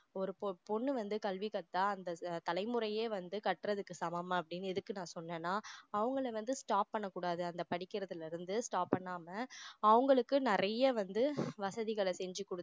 ஒரு பொண்ணு வந்து கல்வி கற்றா அந்த தலைமுறையே வந்து கற்றதுக்கு சமம் அப்படின்னு எதுக்கு நான் சொனேன்னா அவங்கள வந்து stop பண்ண கூடாது அந்த படிக்கிறதுல இருந்து stop பண்ணாம அவங்களுக்கு நிறைய வந்து வசதிகள செஞ்சு கொடுத்து